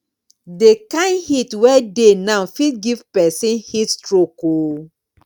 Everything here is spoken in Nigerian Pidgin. the kyn heat wey dey now fit give person heat stroke oo